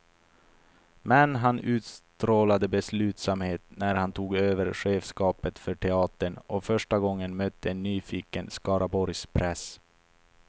Men han utstrålade beslutsamhet när han tog över chefskapet för teatern och första gången mötte en nyfiken skaraborgspress.